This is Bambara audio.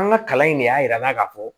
An ka kalan in ne y'a yir'an na k'a fɔ